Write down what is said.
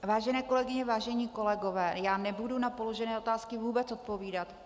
Vážené kolegyně, vážení kolegové, já nebudu na položené otázky vůbec odpovídat.